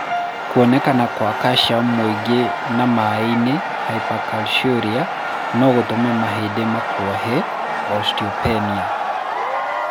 Kuoneka kwa calcium mũingĩ na maĩ-inĩ (hypercalciuria) no gũtũme mahĩndĩ makuohe (osteopenia).